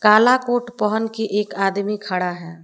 काला कोट पहन के एक आदमी खड़ा है।